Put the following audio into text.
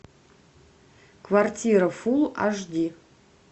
квартира фул аш ди